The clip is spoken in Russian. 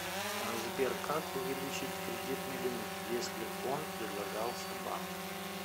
сбер как увеличить кредитный лимит если он предлагался банком